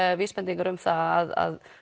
vísbendingar um það að